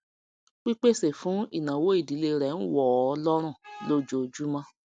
pípèsè fún ìnáwó ìdílé rẹ ń wọọ lọrùn lojoojúmọ